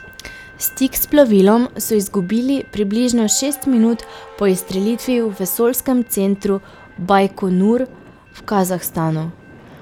Stik s plovilom so izgubili približno šest minut po izstrelitvi v vesoljskem centru Bajkonur v Kazahstanu.